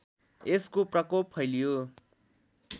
यसको प्रकोप फैलियो